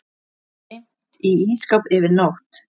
Geymt í ísskáp yfir nótt.